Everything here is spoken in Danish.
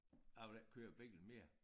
Jeg vil ikke køre bil mere